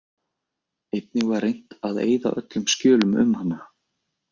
Einnig var reynt að eyða öllum skjölum um hana.